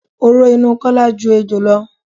Oró inú Kọ́lá ju ti ejò lọ.